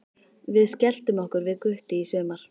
Við skelltum okkur við Gutti í sumar.